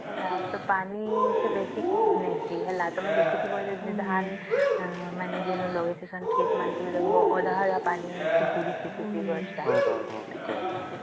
ହେଲା ତ ପାନି ସିଏ ବେଶୀ ନେଇସି ହେଲା ତଆମେ ଦେଖିଥିବ ଯୋଉ ଧାନ ମାନେ ଯେନ ଲଗେଇସନ କ୍ଷେତ ମାନଙ୍କରେ ଦେଖିଥିବ ଅଧ ଅଧ ପାନି